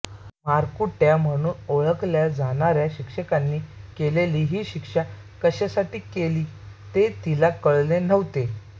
मारकुट्या म्हणून ओळखल्या जाणाऱ्या शिक्षकांनी केलेली ही शिक्षा कशासाठी केली ते तिला कळले नव्हते